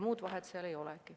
Muud vahet ei olegi.